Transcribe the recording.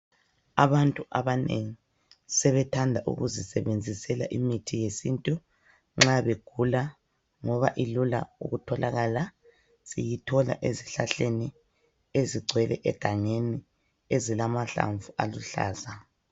Abantu abanengi sebethanda ukuzisebenzisela imithi yesintu nxa begula ngoba ilula ukutholakala. Siyithola ezihlahleni ezigcwele egangeni ezilamahlamvu aluhlaza.